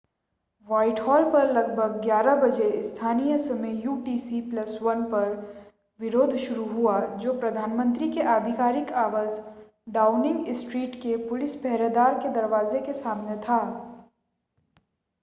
Whitehall पर लगभग 11:00 बजे स्थानीय समय यूटीसी + 1 पर विरोध शुरू हुआ जो प्रधानमंत्री के आधिकारिक आवास डाउनिंग स्ट्रीट के पुलिस-पहरेदार के दरवाजे के सामने था।